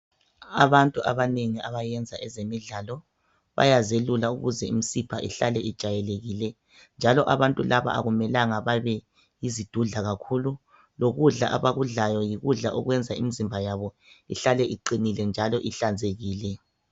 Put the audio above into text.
Abantu abanengi abayenza ezemidlalo bayazelula ukuze imisipha ihlale ijayelekile njalo abantu laba akumelanga babe yizidudla kakhulu lokudla abakudlayo yikudla okwenza imizimba yabo ihlale iqinile njalo ihlanzekile.